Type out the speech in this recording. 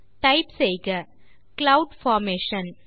type செய்க cloud formation